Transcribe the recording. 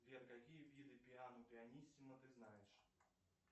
сбер какие виды пиано пианиссимо ты знаешь